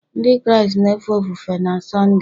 Ndị Kraịst na-efe ofufe na Sọnde